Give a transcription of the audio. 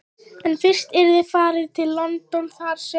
En fyrst yrði farið til London þar sem